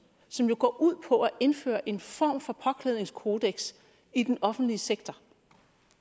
som jo går ud på at indføre en form for påklædningskodeks i den offentlige sektor